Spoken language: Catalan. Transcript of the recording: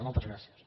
moltes gràcies